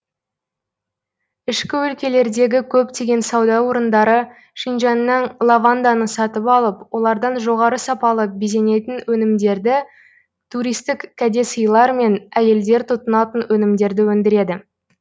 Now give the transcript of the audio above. ішкі өлкелердегі көптеген сауда орындары шинжяңнан лаванданы сатып алып олардан жоғары сапалы безенетін өнімдерді туристік кәде сыйлар мен әйелдер тұтынатын өнімдерді өндіреді